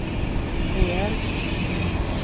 rejält